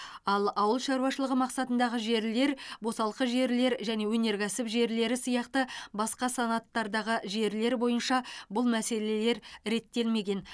ал ауыл шаруашылығы мақсатындағы жерлер босалқы жерлер және өнеркәсіп жерлері сияқты басқа санаттардағы жерлер бойынша бұл мәселелер реттелмеген